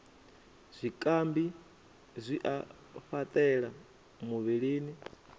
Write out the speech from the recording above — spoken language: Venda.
zwikambi zwi a fhaṱela muvhilini